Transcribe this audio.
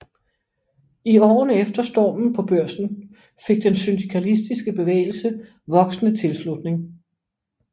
I årene efter Stormen på Børsen fik den syndikalistiske bevægelse voksende tilslutning